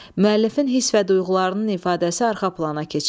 Müəllifin hiss və duyğularının ifadəsi arxa plana keçir.